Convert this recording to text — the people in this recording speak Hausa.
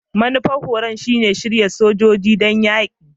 Manufar horon shine shirya sojoji don yaki?